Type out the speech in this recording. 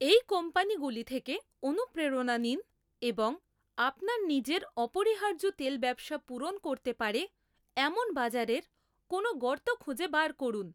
এই কোম্পানিগুলি থেকে অনুপ্রেরণা নিন এবং আপনার নিজের অপরিহার্য তেল ব্যবসা পূরণ করতে পারে এমন বাজারের কোনও গর্ত খুঁজে বার করুন।